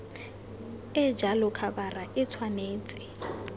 e jalo khabara e tshwanetse